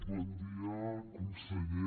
bon dia conseller